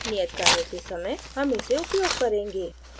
नियत कार्यों के समय हम इसे उपयोग करेंगे